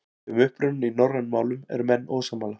Um upprunann í norrænum málum eru menn ósammála.